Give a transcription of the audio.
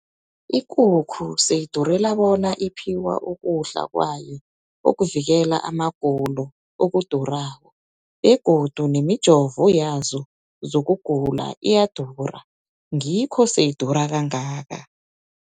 Ikukhu seyidurela bona iphiwa ukudla kwayo okuvikela amagulo, okudurako. Begodu nemijovo yazo zokugula iyadura. Ngikho seyidura kangaka.